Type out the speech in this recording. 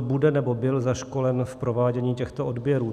bude nebo byl zaškolen v provádění těchto odběrů.